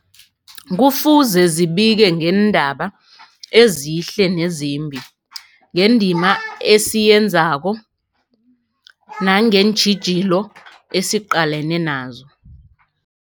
Kufuze zibike ngeendaba ezihle nezimbi, ngendima esiyenzako nangeentjhijilo esiqalene nazo.